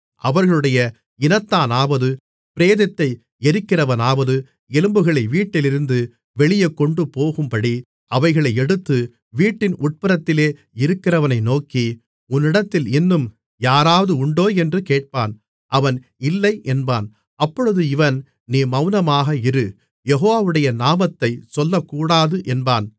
அவர்களுடைய இனத்தானாவது பிரேதத்தை எறிக்கிறவனாவது எலும்புகளை வீட்டிலிருந்து வெளியே கொண்டுபோகும்படி அவைகளை எடுத்து வீட்டின் உட்புறத்திலே இருக்கிறவனை நோக்கி உன்னிடத்தில் இன்னும் யாராவது உண்டோ என்று கேட்பான் அவன் இல்லை என்பான் அப்பொழுது இவன் நீ மௌனமாக இரு யெகோவாவுடைய நாமத்தைச் சொல்லக்கூடாது என்பான்